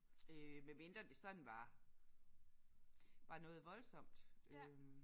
Øh medmindre det sådan var var noget voldsomt øh